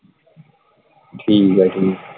ਠੀਕ ਆ ਠੀਕ।